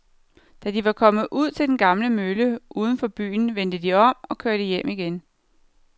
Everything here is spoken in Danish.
Da de var kommet ud til den gamle mølle uden for byen, vendte de om og kørte hjem igen.